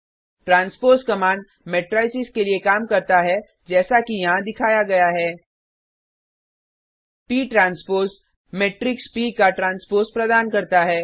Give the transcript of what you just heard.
transpose command matrices के लिए काम करता है जैसा कि यहाँ दिखाया गया है160 प ट्रांसपोज मेट्रिक्स प का ट्रांसपोज प्रदान करता है